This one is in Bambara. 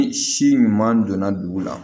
Ni si ɲuman donna dugu la